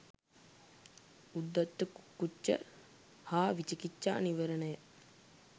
උද්ධච්ච කුක්කුච්ච සහ විචිකිච්චා නීවරණයි.